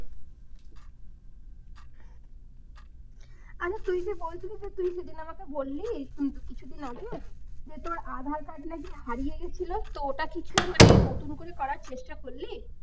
আরে তুই যে বলছিলি যে তুই সেদিন আমাকে বললি কিছুদিন আগে, যে তোর aadhaar card নাকি হারিয়ে গিয়েছিল তো ওটা কিছু মানে নতুন করে করার চেষ্টা করলি?